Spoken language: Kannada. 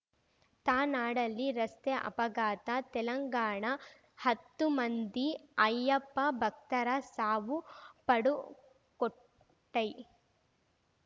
ತನಾಡಲ್ಲಿ ರಸ್ತೆ ಅಪಘಾತ ತೆಲಂಗಾಣ ಹತ್ತು ಮಂದಿ ಅಯ್ಯಪ್ಪ ಭಕ್ತರ ಸಾವು ಪಡುಕೊಟ್ಟೈ